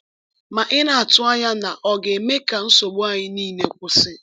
Ma ị na-atụ anya na ọ ga-eme ka nsogbu anyị niile kwụsị?